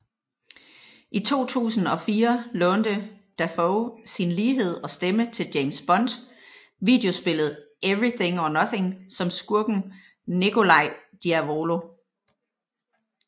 I 2004 lånte Dafoe sin lighed og stemme til James Bond videospillet Everything or Nothing som skurken Nikolai Diavolo